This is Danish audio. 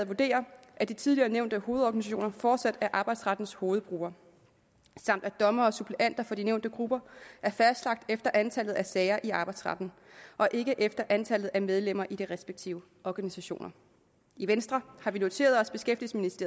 vurderer at de tidligere nævnte hovedorganisationer fortsat er arbejdsrettens hovedgrupper samt at dommere og suppleanter fra de nævnte grupper er fastlagt efter antallet af sager i arbejdsretten og ikke efter antallet af medlemmer i de respektive organisationer i venstre har vi noteret